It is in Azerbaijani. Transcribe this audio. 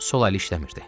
Sol əli işləmirdi.